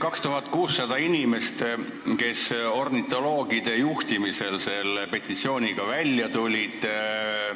2600 inimest tulid ornitoloogide juhtimisel selle petitsiooniga välja.